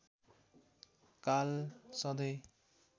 काल सधैँ